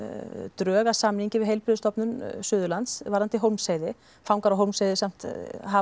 drög að samningi við Heilbrigðisstofnun Suðurlands varðandi Hólmsheiði fangar á Hólmsheiði samt hafa